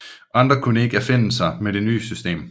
Andre kunne ikke affinde sig med det nye system